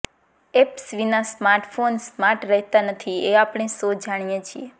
apps વિના smartphone smart રહેતા નથી એ આપણે સૌ જાણીએ છીએ